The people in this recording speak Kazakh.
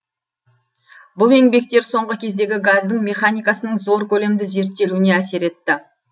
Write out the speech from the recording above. бұл еңбектер соңғы кездегі газдің механикасының зор көлемді зерттелуіне әсер етті